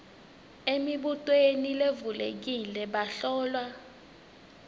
emibutweni levulekile bahlolwa